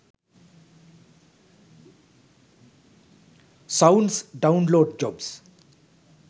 sounds download jobs